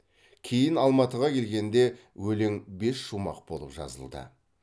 кейін алматыға келгенде өлең бес шумақ болып жазылды